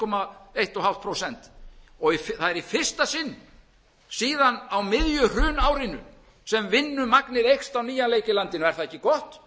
til eins og hálft prósent það er í fyrsta sinn síðan á miðju hrunárinu sem vinnumagnið eykst á nýjan leik í landinu er það ekki gott það þarf